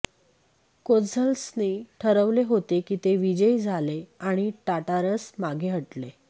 कोझ्झल्सने ठरवले होते की ते विजयी झाले आणि टाटारस मागे हटले